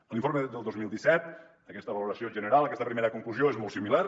a l’informe del dos mil disset aquesta valoració general aquesta primera conclusió és molt similar